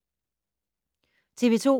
TV 2